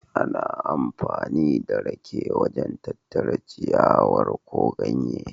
Ana amfani da rake wajen tattara ciyawar ko ganye.